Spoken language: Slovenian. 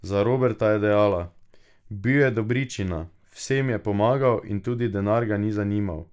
Za Roberta je dejala: "Bil je dobričina, vsem je pomagal in tudi denar ga ni zanimal.